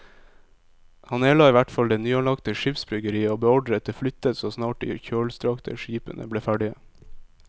Han nedla i hvert fall det nyanlagte skipsbyggeriet og beordret det flyttet så snart de kjølstrakte skipene ble ferdige.